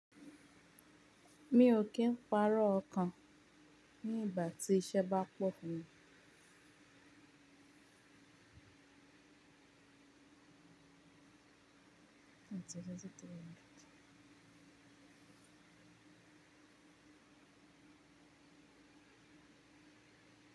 Mi ò kí ń parọ́ ọkàn ní ìgbà tí iṣẹ́ bá pọ̀ funmi.